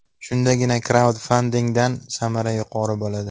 Shundagina kraudfandingdan samara yuqori bo‘ladi.